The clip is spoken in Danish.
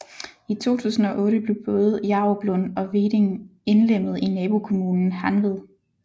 I 2008 blev både Jaruplund og Veding indlemmet i nabokommunen Hanved